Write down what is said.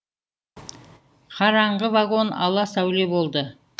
қараңғы вагон ала сәуле болды